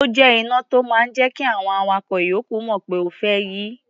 Ó jẹ́ iná tó máa ń jẹ́ kí àwọn awakọ̀ ìyókù mọ̀ pé o fẹ́ yí.